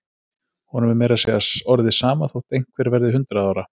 Honum er meira að segja orðið sama þótt einhver verði hundrað ára.